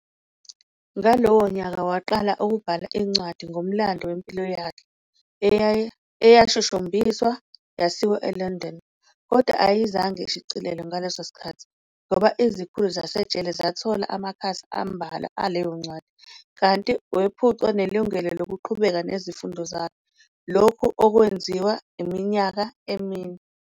Ngalowo nyaka waqala ukubhala incwadi ngomlando wempilo yakhe, eyashushumbiswa yasiwa eLondon, kodwa ayezange ishicilelwe ngaleso sikkhathi, ngoba izikhulu zasejele zathola amakhasi ambalwa aleyo ncwadi, kanti wephucwa nelungalo lokuqhubeka nezifundo zakhe, lokhu okwenziwa iminyaka emine.